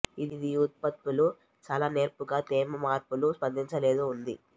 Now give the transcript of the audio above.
ఇది ఈ ఉత్పత్తులు చాలా నేర్పుగా తేమ మార్పులు స్పందించలేదు ఉంది